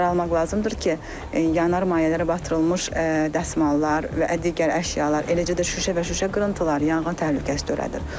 Nəzərə almaq lazımdır ki, yanan mayələrə batırılmış dəsmallar və digər əşyalar, eləcə də şüşə və şüşə qırıntıları yanğın təhlükəsi törədir.